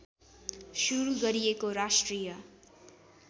सुरु गरिएको राष्ट्रिय